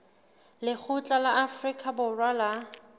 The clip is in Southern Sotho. lekgotla la afrika borwa la